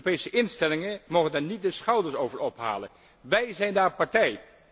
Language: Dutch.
De Europese instellingen mogen daar niet de schouders over ophalen. Wij zijn daar partij.